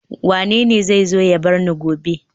Wanene zai zo ya bar ni gobe